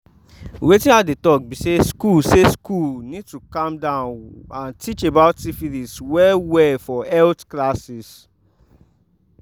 wetin i dey talk be say school say school need to calm down and teach about syphilis well well for health classes